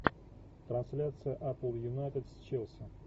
трансляция апл юнайтед с челси